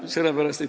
Kaheksa minutit.